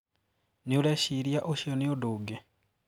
Niureshiria ucio ni undũ ungi?